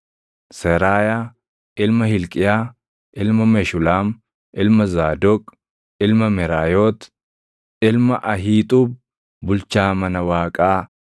Seraayaa ilma Hilqiyaa, ilma Meshulaam, ilma Zaadoq, ilma Meraayoot, ilma Ahiixuub, bulchaa mana Waaqaa,